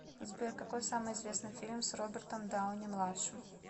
сбер какой самый известный фильм с робертом дауни младшим